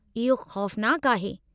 इहो ख़ौफ़नाकु आहे।